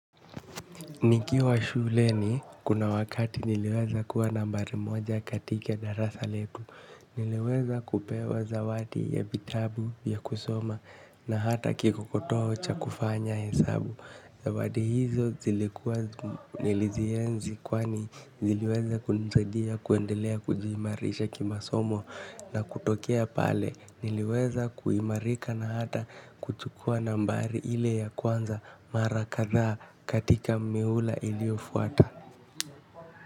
Nikiwa shuleni kuna wakati niliweza kuwa nambari moja katika darasa letu. Niliweza kupewa zawadi ya vitabu vya kusoma na hata kikokotoo cha kufanya hesabu. Zawadi hizo zilikuwa nilizienzi kwani ziliweza kunisaidia kuendelea kujiimarisha kimasomo na kutokea pale. Niliweza kuimarika na hata kuchukua nambari ile ya kwanza mara kadhaa katika mihula iliyofuata.